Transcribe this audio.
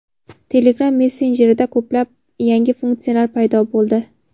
Telegram messenjerida ko‘plab yangi funksiyalar paydo bo‘ldi.